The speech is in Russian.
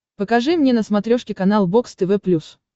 покажи мне на смотрешке канал бокс тв плюс